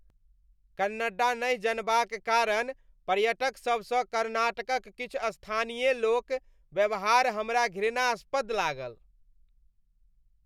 कन्नड्डा नहि जनबाक कारण पर्यटकसभसँ कर्नाटकक किछु स्थानीय लोक व्यवहार हमरा घृणास्पद लागल।